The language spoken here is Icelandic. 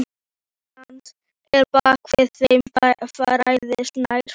Hríslan að baki þeim færðist nær.